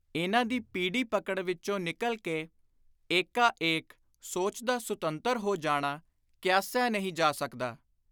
ਇਨ੍ਹਾਂ ਦੀ ਪੀਡੀ ਪਕੜ ਵਿਚੋਂ ਨਿਕਲ ਕੇ, ਏਕਾ ਏਕ, ਸੋਚ ਦਾ ਸੁਤੰਤਰ ਹੋ ਜਾਣਾ ਕਿਆਸਿਆ ਨਹੀਂ ਜਾ ਸਕਦਾ।